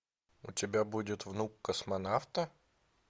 у тебя будет внук космонавта